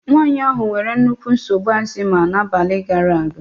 Nwaanyị ahụ nwere nnukwu nsogbu ashima n'abalị gaara aga.